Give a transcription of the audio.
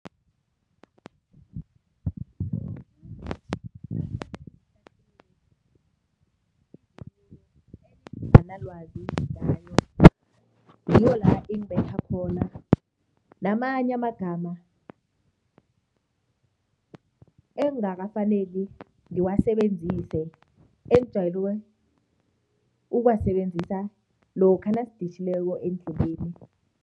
Enginganalwazi ngayo, ngiyo la ingibetha khona, namanye amagama engingakafaneli ngiwasebenzise engijayele ukuwasebenzisa lokha nasiditjhileko endleleni.